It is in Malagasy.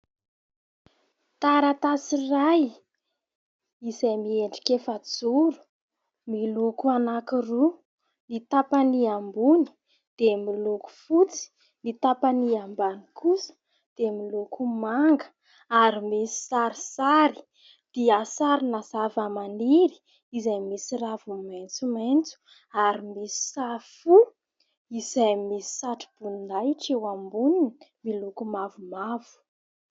Taratasy iray izay miendrika efajoro miloko anankiroa : ny tapany ambony dia miloko fotsy, ny tapany ambany kosa dia miloko manga ary misy sarisary, dia sarina zava-maniry izay misy raviny maitsomaitso ary misy sary fo izay misy satroboninahitra eo amboniny miloko mavomavo.